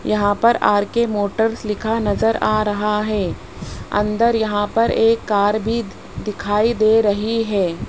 यहां पर R K motors लिखा नजर आ रहा है अंदर यहां पर एक कार भी दिखाई दे रही है।